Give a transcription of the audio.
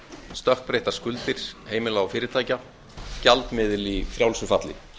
stökkbreyttar skuldir heimila og fyrirtækja gjaldmiðil í frjálsu falli